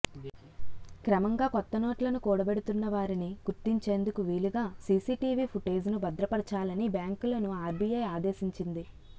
క్రమంగా కొత్త నోట్లను కూడబెడుతున్నవారిని గుర్తించేందుకు వీలుగా సీసీటీవీ పుటేజ్ ను భద్రపరచాలని బ్యాంకులను ఆర్బీఐ ఆదేశించింది